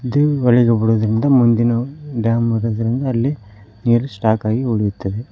ಮುಂದಿನವು dam ಇರುವದರಿಂದ ಅಲ್ಲಿ ನೀರ್ ಸ್ಟಾಕ್ ಆಗಿ ಉಳಿಯುತ್ತದೆ.